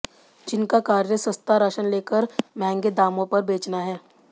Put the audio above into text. जिनका कार्य सस्ता राशन लेकर महंगे दामों पर बेचना है